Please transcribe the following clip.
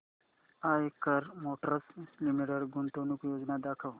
Eicher motors limited गुंतवणूक योजना दाखव